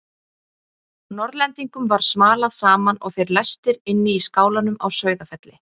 Norðlendingum var smalað saman og þeir læstir inn í skálanum á Sauðafelli.